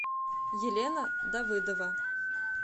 елена давыдова